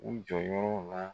U jɔyɔrɔ la